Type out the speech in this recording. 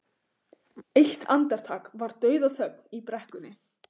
Eitt andartak var dauðaþögn í brekkunni.